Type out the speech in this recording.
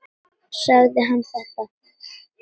Sagði hann þetta?